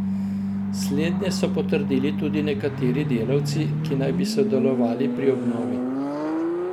Slednje so potrdili tudi nekateri delavci, ki naj bi sodelovali pri obnovi.